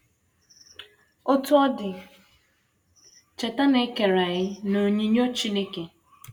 Otú ọ dị, cheta na e kere anyị n’onyinyo Chineke.